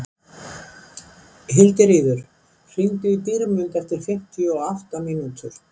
Hildiríður, hringdu í Dýrmund eftir fimmtíu og átta mínútur.